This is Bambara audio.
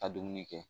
Ka dumuni kɛ